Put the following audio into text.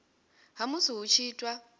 ha musi hu tshi itwa